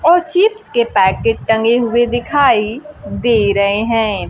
और चिप्स के पैकेट टंगे हुए दिखाई दे रहे हैं।